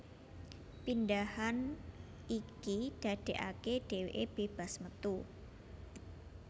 Pindhahan iki dadekake dheweke bebas metu